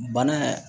Bana